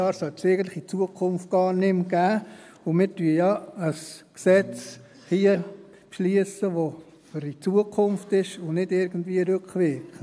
5 Jahre sollte es eigentlich in Zukunft gar nicht mehr geben, und wir beschliessen ja jetzt hier ein Gesetz, das für die Zukunft ist und nicht irgendwie rückwirkend.